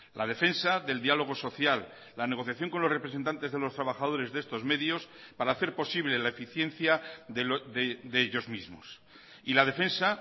la defensa del diálogo social la negociación con los representantes de los trabajadores de estos medios para hacer posible la eficiencia de ellos mismos y la defensa